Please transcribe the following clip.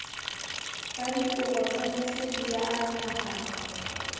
tsa diporofensi di a nahanwa